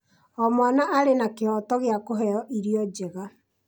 O mwana arĩ na kĩhooto gĩa kũheo irio njega.